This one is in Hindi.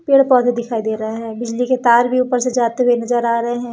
पेड़ पौधे दिखाई दे रहे हैं बिजली के तार भी ऊपर से जाते हुए नजर आ रहे हैं।